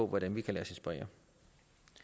hvordan vi kan lade